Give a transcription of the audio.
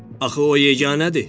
Axı o yeganədir.